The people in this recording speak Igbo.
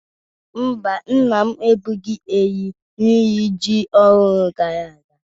Mba, nna m egbughi ehi n'iri ji ọhụrụ gara aga.